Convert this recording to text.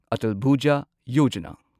ꯑꯇꯜ ꯚꯨꯖꯥ ꯌꯣꯖꯥꯅꯥ